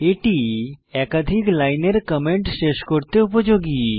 এটি একাধিক লাইনের কমেন্ট শেষ করতে উপযোগী